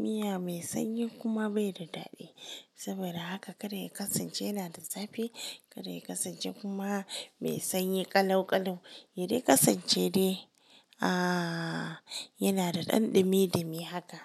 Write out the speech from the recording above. Miya mai sanyi kuma bai da daɗi. Saboda haka ka kar ya kasance yana da zafi kar ya kasance kuma mai sanyi ƙalau-ƙalau. Ya dai kasance dai, ah yana da ɗan ɗumi, dumi haka.